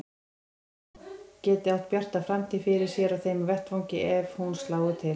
Hvað hún geti átt bjarta framtíð fyrir sér á þeim vettvangi ef hún slái til.